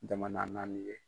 Jamana naani ye.